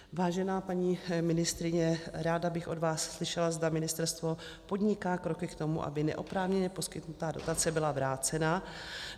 Vážená paní ministryně, ráda bych od vás slyšela, zda ministerstvo podniká kroky k tomu, aby neoprávněně poskytnutá dotace byla vrácena.